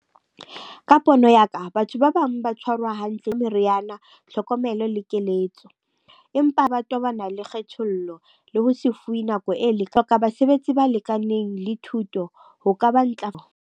Ka pono ya ka, batho ba bang ba tshwarwa hantle meriana, tlhokomelo le keletso. Empa ba tobana le kgethollo le ho se fuwe nako e . Hloka basebetsi ba lekaneng le thuto ho ka ba .